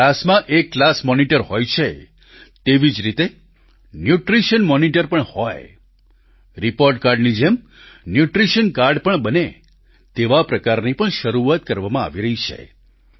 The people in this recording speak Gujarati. જેમ ક્લાસમાં એક ક્લાસ મોનિટર હોય છે તેવી જ રીતે ન્યૂટ્રિશન મોનિટર પણ હોય રિપોર્ટ કાર્ડની જેમ ન્યૂટ્રિશન કાર્ડ પણ બને તેવા પ્રકારની પણ શરૂઆત કરવામાં આવી રહી છે